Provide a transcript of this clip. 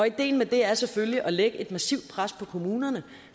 ideen med det er selvfølgelig at lægge et massivt pres på kommunerne